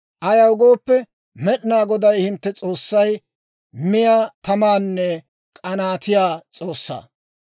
Ayaw gooppe, Med'inaa Goday hintte S'oossay miyaa tamanne k'anaatiyaa S'oossaa.